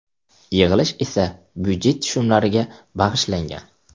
Yig‘ilish esa budjet tushumlariga bag‘ishlangan.